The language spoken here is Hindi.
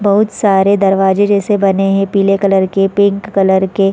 बहुत सारे दरवाजे जैसे बने हैं पीले कलर कर पिंक कलर के--